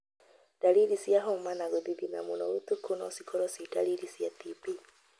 Ndariri cia homa na gũthithina mũno ũtuku no cikorwo cĩi ndariri cia TB.